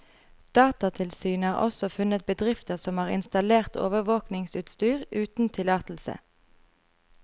Datatilsynet har også funnet bedrifter som har installert overvåkingsutstyr uten tillatelse.